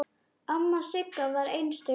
Amma Sigga var einstök kona.